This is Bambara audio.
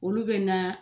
Olu bɛ na